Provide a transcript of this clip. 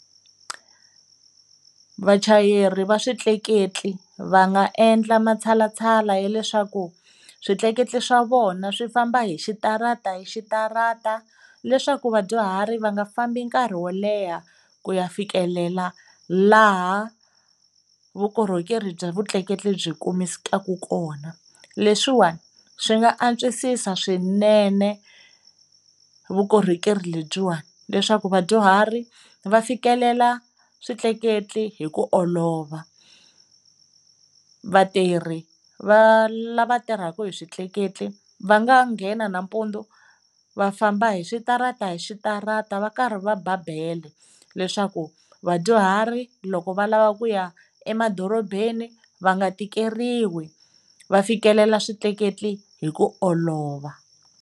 Vachayeri va switleketli va nga endla matshalatshala ya leswaku switleketli swa vona swi famba hi xitara hi xitarata leswaku vadyuhari va nga fambi nkarhi wo leha ku ya fikelela laha vukorhokeri bya vutleketli byi kumekaka kona. Leswiwani swi nga antswisiwa swinene vukorhokeri lebyiwani leswaku vadyuhari va fikelela switleketla hi ku olova. Vatirhi va lava tirhaka hi switleketla va nga nghena nampundzu va famba hi switarata hi switarata va karhi va ba bele leswaku vadyuhari loko va lava ku ya emadorobeni va nga tikeriwi, va fikelela swikweleti hi ku olova.